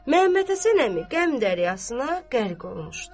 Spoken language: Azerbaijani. Məmmədhəsən əmi qəm daryasına qərq olmuşdu.